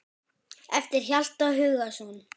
eftir Hjalta Hugason